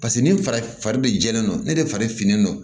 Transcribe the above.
Paseke ni fari fari be jɛlen don ne de fari finnen non